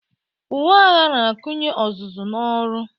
Uwe agha na-akụnye ọzụzụ n'ọrụ.